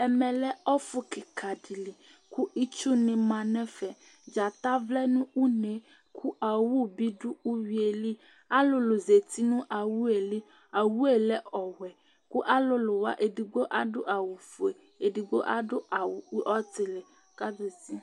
ɛmɛ lɛ ɔfu keka di li kò itsu ni ma n'ɛfɛ dzata vlɛ no une kò owu bi do uwi yɛ li alolo zati no owu yɛ li owu yɛ lɛ ɔwɛ kò alolo wa edigbo adu awu fue edigbo adu awu ɔtili k'azati